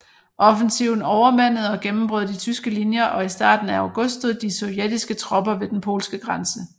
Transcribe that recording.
Offensiven overmandede og gennembrød de tyske linjer og i starten af august stod de sovjetiske tropper ved den polske grænse